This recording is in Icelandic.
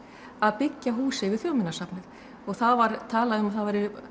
að byggja hús yfir Þjóðminjasafnið það var talað um að það væri